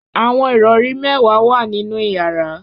Awọn irọri mẹwa wa ninu yara